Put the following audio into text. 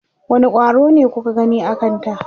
wani ƙwaro ne kuka gani a Kanta?